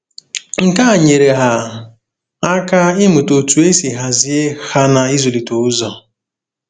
Nke a nyeere ha aka ịmụta otú e si hazie ha na ịzụlite ụzọ.